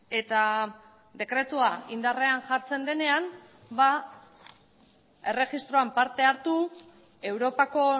eta dekretua indarrean jartzen denean erregistroan parte hartu europako